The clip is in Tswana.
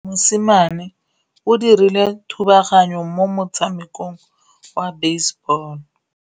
Mosimane o dirile thubaganyô mo motshamekong wa basebôlô.